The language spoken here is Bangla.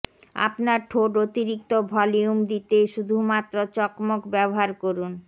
আপনার ঠোঁট অতিরিক্ত ভলিউম দিতে শুধুমাত্র চকমক ব্যবহার করুন